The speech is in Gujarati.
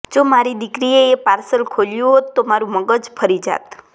જો મારી દીકરીએ એ પાર્સલ ખોલ્યું હોત તો મારું મગજ ફરી જાત